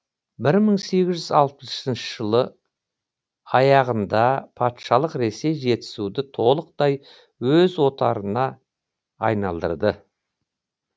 бір мың сегіз жүз алпысыншы жылы аяғында патшалық ресей жетісуды толықтай өз отарына айналдырды